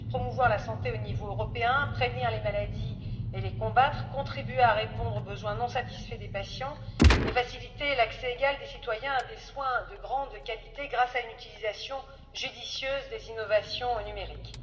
Il s'agit de promouvoir la santé au niveau européen, de prévenir les maladies et de les combattre, de contribuer à répondre aux besoins non satisfaits des patients et de faciliter l'accès égal des citoyens à des soins de grande qualité, grâce à une utilisation judicieuse des innovations numériques.